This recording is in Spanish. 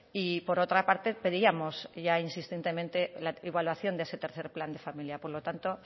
y por otra parte pedíamos ya insistentemente la igualación de ese tercero plan de familia por lo tanto